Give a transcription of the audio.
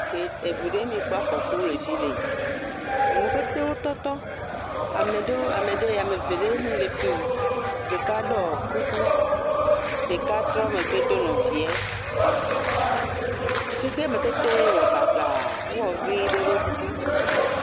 Gbe..eŋu ɖe mi kpɔ afɔku le fi le, nuwo petewo tɔtɔ, ame ɖewo ame ɖe ame eve ɖe hi le fii ɖeka ɖɔ kuku ɖeka trɔ megbe do nɔvie, xexea me katã wɔ basaa ewɔ ʋi ɖe ɖo kuku.